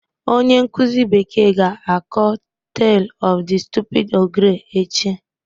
Onye nkuzi bekee ga-akọ Tale of the Stupid Ogre echi